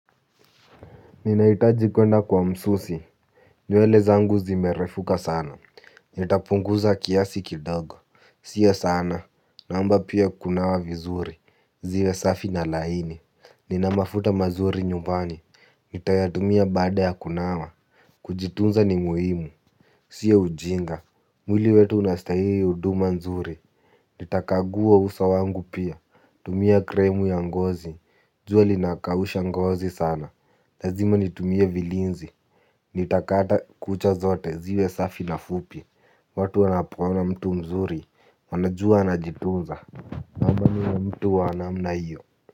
Ninahitaji kuenda kwa msusi. Nywele zangu zimerefuka sana. Nitapunguza kiasi kidogo. Sio sana. Naomba pia kunawa vizuri. Ziwe safi na laini. Nina mafuta mazuri nyumbani. Nitayatumia baada ya kunawa. Kujitunza ni muhimu. Sio ujinga. Mwili wetu unastahili huduma nzuri. Nitakagua uso wangu pia. Tumia krimu ya ngozi. Jua linakausha ngozi sana. Lazima nitumie vilinzi, nitakata kucha zote, ziwe safi na fupi. Watu wanapoona mtu mzuri, wanajua anajituza. Naomba niwe mtu wa namna hiyo.